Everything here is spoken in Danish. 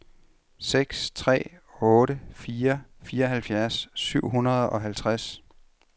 seks tre otte fire fireoghalvfjerds syv hundrede og halvtreds